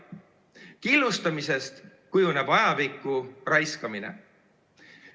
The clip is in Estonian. Killustamisest kujuneb ajapikku raiskamine.